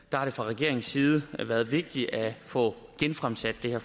har det fra regeringens side været vigtigt at få genfremsat det her